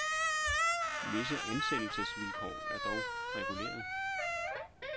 Visse ansættelsesvilkår er dog reguleret.